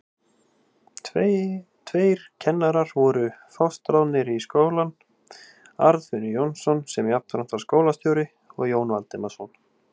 Tveir kennarar voru fastráðnir við skólann, Arnfinnur Jónsson, sem jafnframt var skólastjóri, og Jón Valdimarsson.